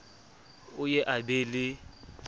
o ye a be le